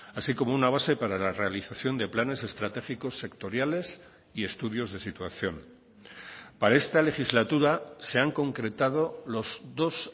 así como una base para la realización de planes estratégicos sectoriales y estudios de situación para esta legislatura se han concretado los dos